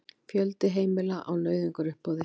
Fjöldi heimila á nauðungaruppboði